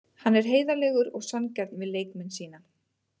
Hann er heiðarlegur og sanngjarn við leikmenn sína.